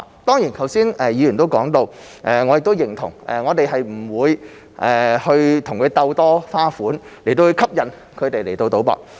當然，剛才議員也說到而我亦認同，我們不會與他們鬥多花款來吸引市民賭博。